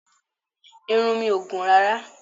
Irun mi ò gùn rárá